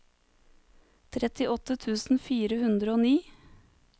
trettiåtte tusen fire hundre og ni